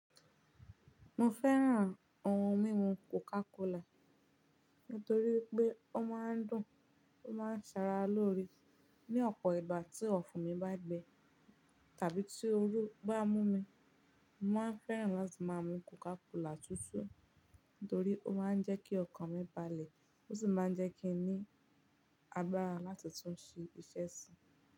Mo fẹ́ràn ohùn mímu Coca Cola nítorí pé ó máa ń dùn ó máa ń ṣara lóre. Ni ọ̀pọ̀ ìgbà tí ọ̀fùn mi bá gbẹ tàbí tí ooru bá mú mi, mo máa ń fẹ́ràn láti máa mu Coca Cola tútù, torí ó máa ń jẹ́ kí ọkàn mi balẹ̀, ó sì máa ń jẹ́ kí n ní agbára láti tún ṣe iṣẹ́ sí.